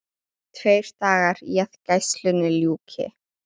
Tveir dagar í að gæslunni ljúki.